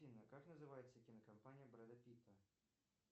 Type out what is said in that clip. афина как называется кинокомпания брэда питта